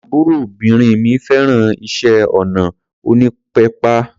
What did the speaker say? Àbúròbìnrin mi fẹ́ràn iṣẹ́ ọnà onípépà.